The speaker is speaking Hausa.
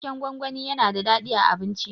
Waken gwangwani yana da daɗi a abinci.